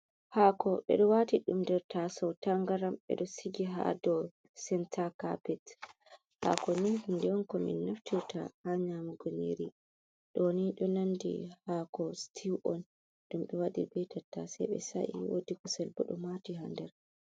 hako ɓedo wati dumder ta sautangaram, be do sigi ha do senta capet, hako ni de yonko min naftita ha nyamugo niri ,doni do nandi hako stiw on dum be wadir betatta sei be saiwodikusel budo mati ha der.